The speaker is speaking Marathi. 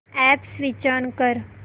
अॅप स्विच ऑन कर